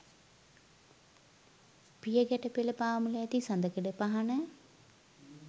පිය ගැට පෙළ පාමුල ඇති සඳකඩ පහණ